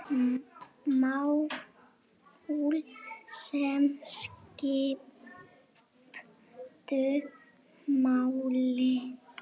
Mál, sem skiptu máli.